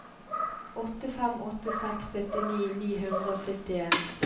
åtte fem åtte seks syttini ni hundre og syttien